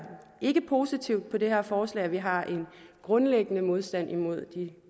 ikke positivt på det her forslag vi har en grundlæggende modstand imod de